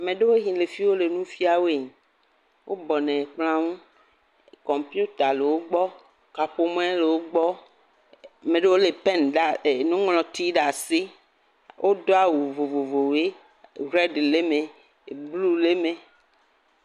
Meɖowo yi le fi wole nu fia woe, wobɔnɔ kplɔa ŋu, kɔmpiuta le wo gbɔ, kaƒomɔe le wo gbɔ, meɖowo lé pɛ.. nuŋlɔti ɖe asi, wodo awu vovovowoe, rɛd le mee, blu le mee.